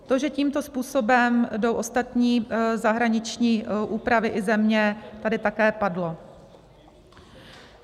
To, že tímto způsobem jdou ostatní zahraniční úpravy i země, tady také padlo.